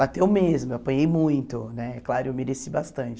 Bateu mesmo, eu apanhei muito, né é claro, eu mereci bastante.